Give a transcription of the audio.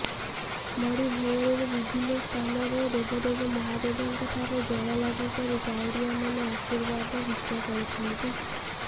ବଡ଼ି ଭୋରରୁ ବିଭିନ୍ନ ସ୍ଥାନରେ ଦେବଦେବ ମହାଦେବଙ୍କ ଠାରେ ଜଳଲାଗି କରି କାଉଡ଼ିଆମାନେ ଆଶୀର୍ବାଦ ଭିକ୍ଷା କରୁଛନ୍ତି